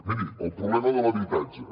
miri el problema de l’habitatge